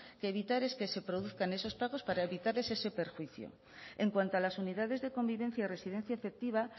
que evitar es que se produzcan esos pagos para evitarles ese perjuicio en cuanto a las unidades de convivencia y residencia efectiva